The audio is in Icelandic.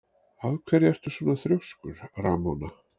Af hverju ertu svona þrjóskur, Ramóna?